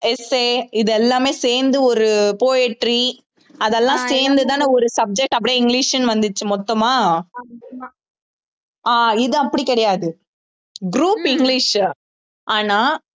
essay இது எல்லாமே சேர்ந்து ஒரு poetry அது எல்லாம் சேர்ந்துதான ஒரு subject அப்படியே இங்கிலிஷ்ன்னு வந்துச்சு மொத்தமா ஆஹ் இது அப்படி கிடையாது group இங்கிலிஷ் ஆனா